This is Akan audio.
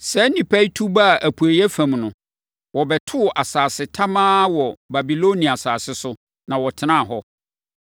Saa nnipa yi tu baa apueeɛ fam no, wɔbɛtoo asase tamaa wɔ Babilonia asase so, na wɔtenaa hɔ.